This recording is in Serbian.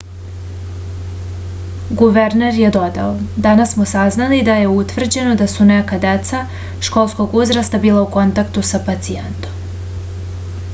guverner je dodao danas smo saznali da je utvrđeno da su neka deca školskog uzrasta bila u kontaktu sa pacijentom